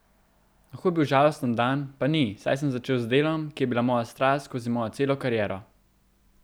Lahko bi bil žalosten dan, pa ni, saj sem začel z delom, ki je bila moja strast skozi mojo celo kariero.